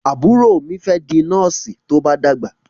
Àbúrò mí fé di Nọ́ọ̀sì tó bá dàgbà.